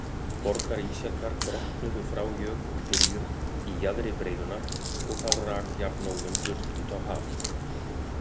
Borgarísjakar brotnuðu frá jökulþiljum í jaðri breiðunnar og þá rak jafnóðum burt út á haf.